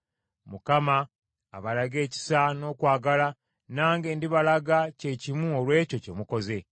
Mukama abalage ekisa n’okwagala, nange ndibalaga ky’ekimu olw’ekyo kye mukoze.